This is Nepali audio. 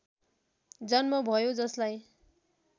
जन्म भयो जसलाई